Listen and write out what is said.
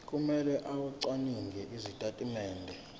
kumele acwaninge izitatimende